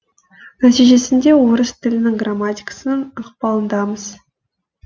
нәтижесінде орыс тілінің грамматикасының ықпалындамыз